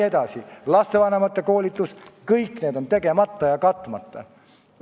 Ka lastevanemate koolitus on tegemata ja katmata.